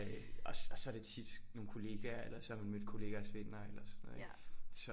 Øh og så er det tit nogle kollegaer eller så har man mødt kollegaers venner eller sådan noget ikke så